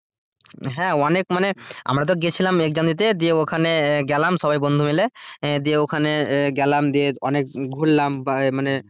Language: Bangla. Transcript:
হ্যাঁ অনেক মানে আমরা তো গিয়েছিলাম exam দিতে, দিয়ে ওখানে গেলাম সবাই বন্ধু মিলে দিয়ে ওখানে গেলাম দিয়ে অনেক ঘুরলাম বা আহ মানে,